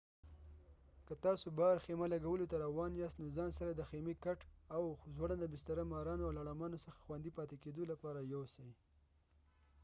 که تاسو باهر خيمه لګولو ته راوان ياست نو ځان سره د خيمي کاټ او ځوړنده بستره مارانو او لړامانو څخه خوندي پاتي کيدو لپاره يوسئ